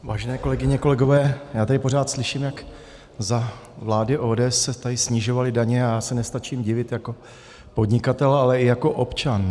Vážené kolegyně, kolegové, já tady pořád slyším, jak za vlády ODS se tady snižovaly daně a já se nestačím divit jako podnikatel, ale i jako občan.